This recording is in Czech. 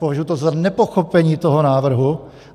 považuji to za nepochopení toho návrhu.